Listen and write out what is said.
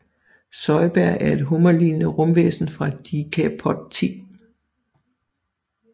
Zoidberg er et hummerlignende rumvæsen fra Decapod 10